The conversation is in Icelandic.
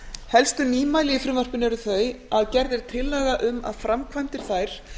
helstu nýmæli í frumvarpinu eru þau að gerð er tillaga um að framkvæmdir þær